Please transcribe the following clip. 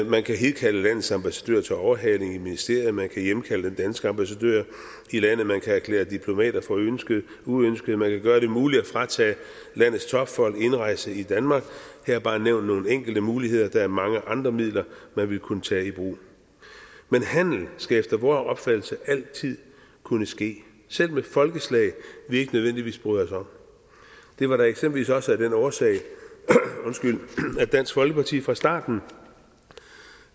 man kan hidkalde landets ambassadør til overhaling i ministeriet man kan hjemkalde den danske ambassadør i landet man kan erklære diplomater for uønskede uønskede man kan gøre det muligt at fratage landets topfolk indrejse i danmark her er bare nævnt nogle enkelte muligheder der er mange andre midler man ville kunne tage i brug men handel skal efter vor opfattelse altid kunne ske selv med folkeslag vi ikke nødvendigvis bryder os om det var da eksempelvis også af den årsag at dansk folkeparti fra starten